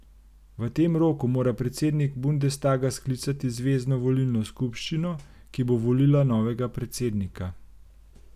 V tem roku mora predsednik bundestaga sklicati zvezno volilno skupščino, ki bo volila novega predsednika.